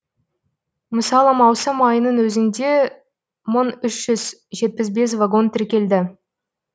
мысалы маусым айының өзінде мың үш жүз жетпіс бес вагон тіркелді